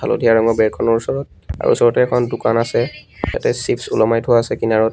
হালধীয়া ৰঙৰ বেৰখনৰ ওচৰত তাৰ ওচৰতে এখন দোকান আছে তাতে চিপচ ওলমাই থোৱা আছে কিনাৰত।